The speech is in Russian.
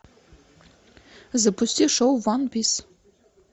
запусти шоу ван пис